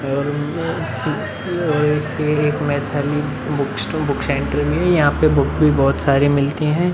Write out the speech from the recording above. और यहाँ एक यहाँ एक Maithili book store book centre है और यहाँ पे बुक भी बहोत सारे मिलते हैं।